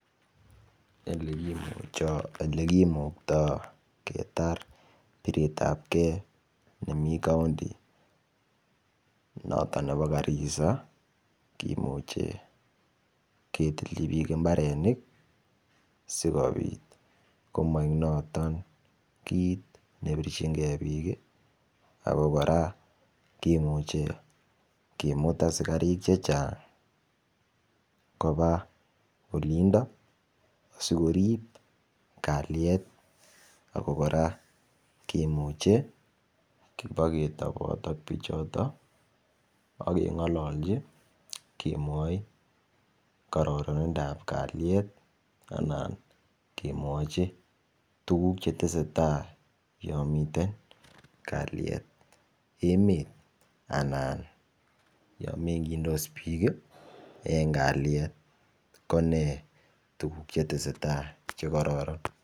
En Ole kimukta ketar biretabge nemii kaunti noton nebo Garissaa kimuche ketilchhi bik mbarenik asikobit komoigik noton kit nebirchin ge bik ako kora kimut asikarik chechang' koba olinto aisikorib kalyet ako kora kimuche kiboketobot ak bichoton ak ibo kengololchi kemwoi kororonindap kalyet anan kemwochi tuguk Che tesetai yon miten kalyet emet anan yon mengchindos bik ii en kalyet ko ne tuguk Che tesetai Che kororon